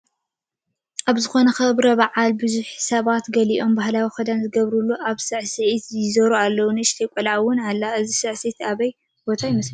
ኣብ ዝኾነ ክብረ በዓል ብዙሓት ሰባት ገሊኦም ባህላዊ ክዳን ዝገበሩን ኣብ ሳዕሲዒት ይዞሩ ኣለው፡፡ ንእሽቶ ቆልዓ ውን ኣሎ፡፡ እዚ ሳዕሲዒ ኣበየናይ ቦታ ይመስለኩም?